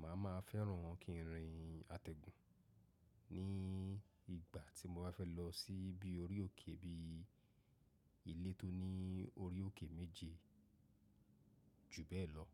Màá ma fẹ́ran kí n rìn àtẹ̀gùn ní ìgbà tí mọ bá fẹ́ lọ sí ibi orí òkè bíi ilé tó ní orí òkè méji ju bẹ́ẹ̀ lọ.